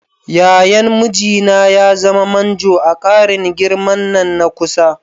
Yayan mijina ya zama manjo a ƙarin girman nan na kusa.